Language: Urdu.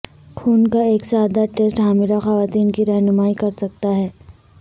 خون کا ایک سادہ ٹیسٹ حاملہ خواتین کی راہنمائی کر سکتا ہے